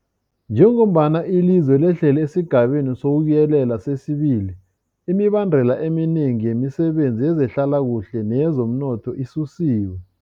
Njengombana ilizwe lehlela esiGabeni sokuYelela sesi-2, imibandela eminengi yemisebenzi yezehlalakuhle neyezomnotho isusiwe.